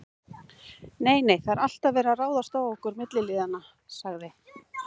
Nei, nei, það er alltaf verið að ráðast á okkur milliliðina sagði